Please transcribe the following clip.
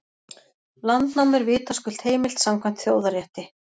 Landnám er vitaskuld heimilt samkvæmt þjóðarétti.